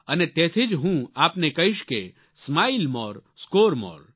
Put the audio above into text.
અને તેથી જ હું આપને કહીશ કે સ્માઇલ મોરે સ્કોર મોરે